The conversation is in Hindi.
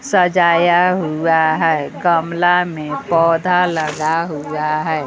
सजाया हुआ है गमला में पौधा लगा हुआ है।